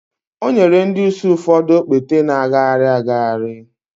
o nyere ndị ìsì ụfọdụ okpete na-agagharị agagharị